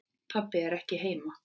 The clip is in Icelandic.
Pabbi er ekki heima.